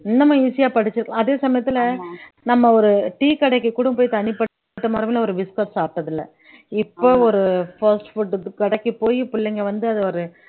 இன்னமும் easy ஆ படிச்சு அதே சமயத்துல நம்ம ஒரு tea கடைக்கு கூட போய் தனிப்பட்ட முறையில ஒரு biscuit சாப்பிட்டது இல்லை இப்போ ஒரு fast food கடைக்கு போயி பிள்ளைங்க வந்து அதை ஒரு